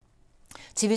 TV 2